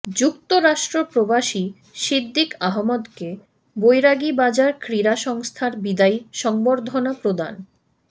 যুক্তরাষ্ট্র প্রবাসী সিদ্দিক আহমদকে বৈরাগীবাজার ক্রীড়া সংস্থার বিদায়ী সংবর্ধনা প্রদান